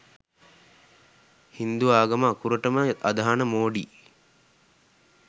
හින්දු ආගම අකුරටම අදහන මෝඩි